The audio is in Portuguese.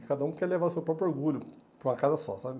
E cada um quer levar o seu próprio orgulho para uma casa só, sabe?